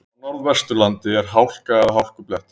Á Norðvesturlandi er hálka eða hálkublettir